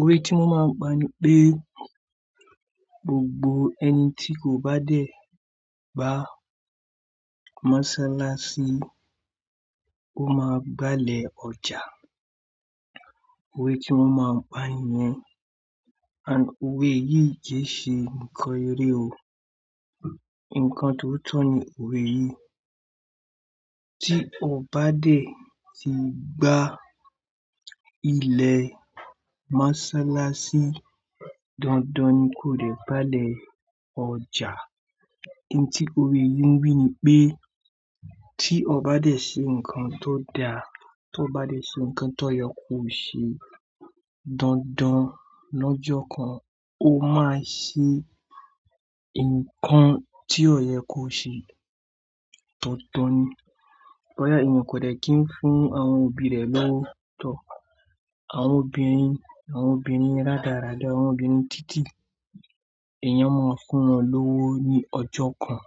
Òwe tí mọ́n máa ń gbo ni pé gbogbo ẹni tí kò bá dẹ̀ bá mọ́sálásí, ó máa gbalẹ̀ ọjà. Òwe tí wọ́n máa ń pa niyẹn, and òwe yìí kẹ́ ṣe nǹkan eré o. Nǹkan tóotọ̀ ni òwe yìí. Tí o bá dẹ̀ ti gbá ilẹ̀ mọ́sálásí, dandan ni kó dẹ̀ gbalẹ̀ ọjà. In tí òwe yìí ń wí ni pé tí o bá dẹ̀ ṣe nǹkan tó da, tí o bá dẹ̀ ṣe nǹkan tó yẹ kó ṣe dandan lọ́jọ́ kan, ó máa ṣe nǹkan tí ọ̀yẹ́ kò ṣe. Dandan ni. Bọ́ ya ẹ mo kò dẹ̀ kí ń fún àwọn òbí rẹ̀ lówó tọ. Àwọn obìnrin, àwọn obìnrin rádaràda, àwọn obìnrin títí, èèyàn máa ń fún wọn lówó ní ọjọ́ kan.